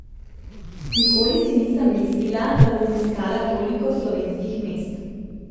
Nikoli si nisem mislila, da bom obiskala toliko slovenskih mest.